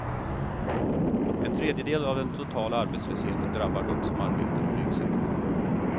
En tredjedel av den totala arbetslösheten drabbar dem som arbetar i byggsektorn.